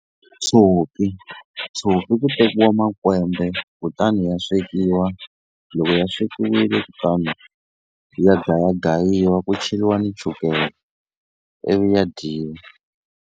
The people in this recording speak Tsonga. Tshopi tshopi ku tekiwa makwembe kutani ya swekiwa loko ya swekiwile kutani ya gayagayiwa ku cheriwa ni chukele ivi ya dyiwa.